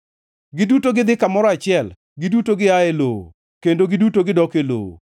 Giduto gidhi kamoro achiel; giduto gia e lowo, kendo giduto gidok e lowo.